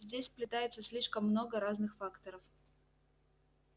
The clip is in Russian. здесь сплетается слишком много разных факторов